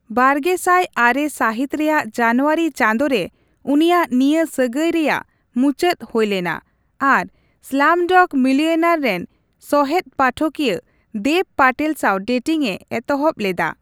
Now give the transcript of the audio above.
ᱵᱟᱜᱮᱥᱟᱭ ᱟᱨᱮ ᱥᱟᱹᱦᱤᱛ ᱨᱮᱭᱟᱜ ᱡᱟᱱᱩᱣᱟᱨᱤ ᱪᱟᱸᱫᱳ ᱨᱮ ᱩᱱᱤᱭᱟᱜ ᱱᱤᱭᱟᱹ ᱥᱟᱹᱜᱟᱭ ᱨᱮᱭᱟᱜ ᱢᱩᱪᱟᱹᱫ ᱦᱩᱭᱞᱮᱱᱟ ᱟᱨ ᱥᱞᱟᱢᱰᱚᱜᱽ ᱢᱤᱞᱤᱭᱚᱱᱮᱭᱟᱨ ᱨᱮᱱ ᱥᱚᱦᱮᱫᱼᱯᱟᱴᱷᱚᱠᱤᱭᱟᱹ ᱫᱮᱵᱽ ᱯᱟᱴᱮᱞ ᱥᱟᱶ ᱰᱮᱴᱤᱝᱼᱮ ᱮᱛᱚᱦᱚᱯ ᱞᱮᱫᱟ ᱾